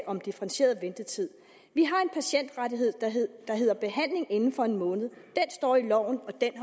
om differentieret ventetid vi har en patientrettighed der hedder behandling inden for en måned den står i loven og den